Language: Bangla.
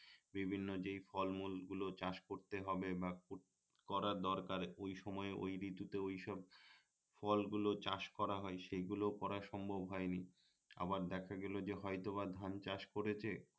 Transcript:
বিভিন্ন যে ফলমূলগুলো চাষ করতে হবে বা করা দরকার ওই সময়ে ওই ঋতুতে ঐসব ফলগুলো চাষ করা হয় সেগুলো করা সম্ভব হয়নি আবার দেখা গেলো যে হয়তোবা ধান চাষ করেছে